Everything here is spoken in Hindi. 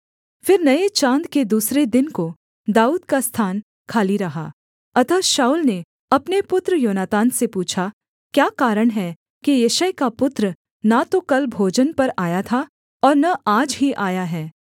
फिर नये चाँद के दूसरे दिन को दाऊद का स्थान खाली रहा अतः शाऊल ने अपने पुत्र योनातान से पूछा क्या कारण है कि यिशै का पुत्र न तो कल भोजन पर आया था और न आज ही आया है